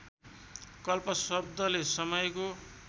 कल्प शब्दले समयको